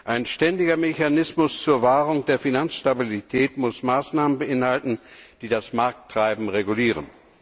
Ein ständiger Mechanismus zur Wahrung der Finanzstabilität muss Maßnahmen beinhalten, die das Markttreiben regulieren.